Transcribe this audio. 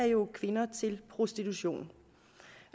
jo er kvinder til prostitution